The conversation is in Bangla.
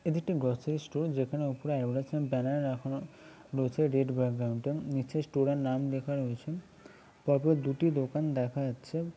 এটি একটি গ্রোসারি স্টোর । যেখানে ওপরে প্রায় রয়েছেন ব্যানার রাখা রয়েছে। রেড ব্যাকগ্রাউন্ড -টা নীচে স্টোর -এর নাম লেখা রয়েছে । পরপর দুটি দোকান দেখা যাচ্ছে ।